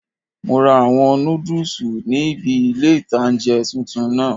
Mo ra àwọn nódùsù níbi ilé-ìtánjẹ tuntun náà